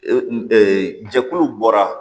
Ee jɛkulu bɔra